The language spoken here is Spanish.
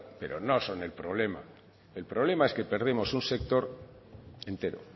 no son el problema el problema es que perdemos un sector entero